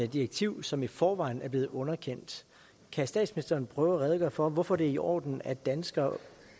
direktiv som i forvejen er blevet underkendt kan statsministeren prøve at redegøre for hvorfor det er i orden at danskere